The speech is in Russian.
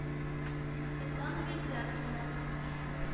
светлана вельдяксова